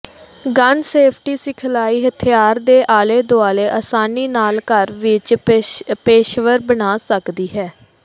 gun safety ਸਿਖਲਾਈ ਹਥਿਆਰ ਦੇ ਆਲੇ ਦੁਆਲੇ ਆਸਾਨੀ ਨਾਲ ਘਰ ਵਿੱਚ ਪੇਸ਼ੇਵਰ ਬਣਾ ਸਕਦੀ ਹੈ